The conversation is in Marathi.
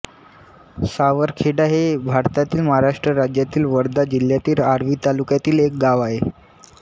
सावरखेडा हे भारतातील महाराष्ट्र राज्यातील वर्धा जिल्ह्यातील आर्वी तालुक्यातील एक गाव आहे